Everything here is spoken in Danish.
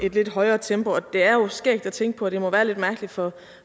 et lidt højere tempo og det er jo skægt at tænke på at det må være lidt mærkeligt for